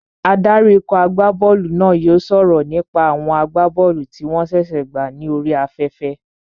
Adarí ikọ̀ agbá bọ́ọ̀lù náà yóò sọ̀rọ̀ nípa àwọn agbá bọ́ọ̀lù tí wọ́n ṣẹ̀ṣẹ̀ gbà ní orí afẹ́fẹ́